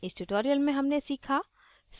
इस tutorial में हमने सीखा